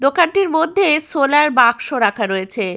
দোকানটির মধ্যে সোলার বাক্স রাখা রয়েছে।